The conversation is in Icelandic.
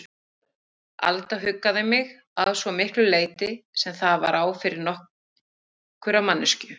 Alda huggaði mig, að svo miklu leyti sem það var á færi nokkurrar manneskju.